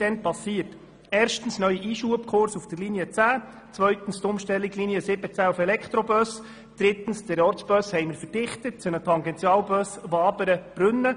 Erstens kam es zu einem neuen Einschubkurs auf der Linie 10, zweitens zur Umstellung der Linie 17 auf Elektrobusse, drittens zur Verdichtung des Ortsbusses zu einem Tangentialbus Wabern–Brünnen.